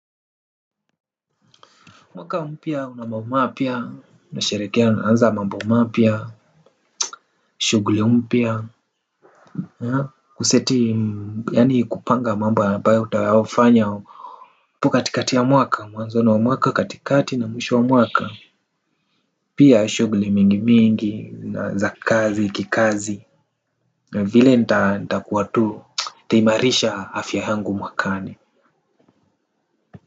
Mwaka mpya una mambo mapya unasherehekea unaanza mambo mapya. Shughuli mpya. Kuseti yaani kupanga mambo ambayo utayafanya hapo katikati ya mwaka mwanzo wa mwaka katikati na mwisho wa mwaka. Pia shughuli mingi mingi na za kazi kikazi na vile nitakuwa tu nitaimarisha afya yangu mwakani.